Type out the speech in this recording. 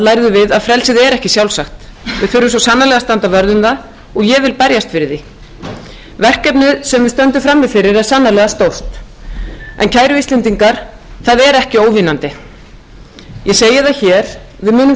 lærðum við að frelsi er ekki sjálfsagt við þurfum svo sannarlega að standa vörð um það og ég vil berjast fyrir því verkefnið sem við stöndum frammi fyrir er sannarlega stórt en kæru íslendingar það er ekki óvinnandi ég segi það hér að við munum